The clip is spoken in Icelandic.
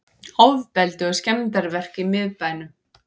Ofbeldi og skemmdarverk í miðbænum